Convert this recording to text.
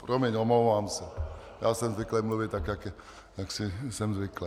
Promiň, omlouvám se, já jsem zvyklý mluvit tak, jak jsem zvyklý.